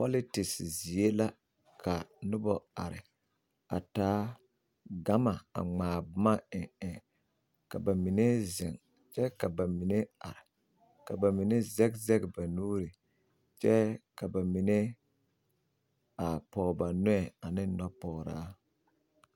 Pɔlitise zie la ka nobɔ are a taa gama a ŋmaa boma eŋ eŋ ka bamine zeŋ kyɛ ka bamine are ka bamine zɛg zɛg ba nuuri kyɛ ka bamine a pɔge ba nɔɛ ane nɔpɔgraa.